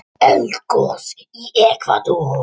Eldgos í Ekvador